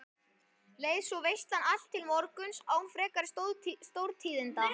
Leið svo veislan allt til morguns án frekari stórtíðinda.